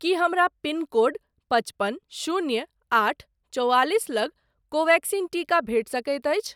की हमरा pin code पचपन शून्य आठ चौआलिस लग कोवेक्सिन टीका भेटि सकैत अछि?